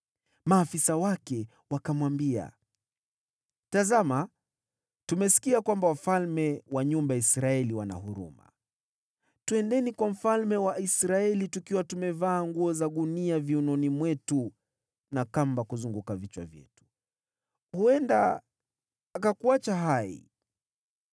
Maafisa wake wakamwambia, “Tazama, tumesikia kwamba wafalme wa nyumba ya Israeli wana huruma. Twendeni kwa mfalme wa Israeli tukiwa tumevaa nguo za gunia viunoni mwetu na kamba kuzunguka vichwa vyetu. Huenda akakuacha hai.”